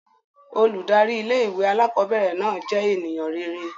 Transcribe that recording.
Óludari ìlé-ìwé àlàkọbẹrẹ náà jẹ́ ènìyàn rere.